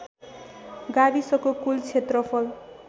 गाविसको कुल क्षेत्रफल